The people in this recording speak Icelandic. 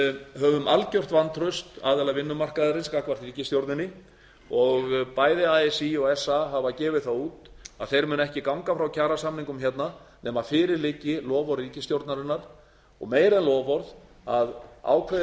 höfum algert vantraust aðila vinnumarkaðarins gagnvart ríkisstjórninni og bæði así og sa hafa gefið það út að þau munu ekki ganga frá kjarasamningum hérna nema fyrir liggi loforð ríkisstjórnarinnar og meira en loforð að ákveðin